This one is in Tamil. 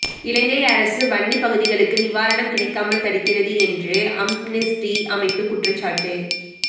இலங்கை அரசு வன்னிப் பகுதிகளுக்கு நிவாரணம் கிடைக்காமல் தடுக்கிறது என்று அம்னெஸ்டி அமைப்பு குற்றச்சாட்டு